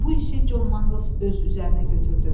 Bu işi Con Manglz öz üzərinə götürdü.